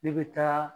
Ne bɛ taa